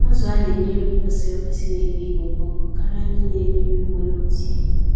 Azụ a-nenye nri kwesịrị ekwesị na-ebu ibu ngwa ngwa karịa ndị na-eri nri nwere otu ihe.